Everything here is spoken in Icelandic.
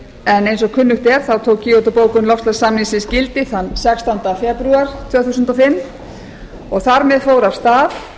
en eins og kunnugt er tók kyoto bókun loftslagssamningsins gildi þann sextánda febrúar tvö þúsund og fimm og þar með fór af stað